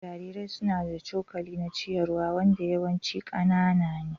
Jarirai suna da cokali na ciyarwa wanda yawanci ƙanana ne.